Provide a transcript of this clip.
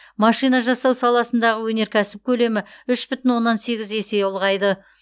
машина жасау саласындағы өнеркәсіп көлемі үш бүтін оннан сегіз есе ұлғайды